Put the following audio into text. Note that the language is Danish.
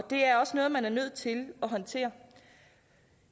det er også noget man er nødt til at håndtere